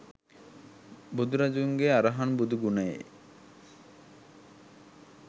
බුදුරදුන්ගේ අරහං බුදු ගුණයේ